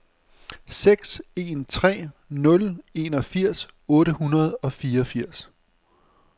seks en tre nul enogfirs otte hundrede og fireogfirs